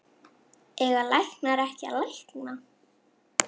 Eiga læknar ekki að lækna?